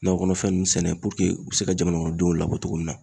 Nakɔ kɔnɔfɛn ninnu sɛnɛ u bɛ se ka jamana kɔnɔdenw labɔ cogo min na.